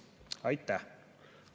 Aitäh!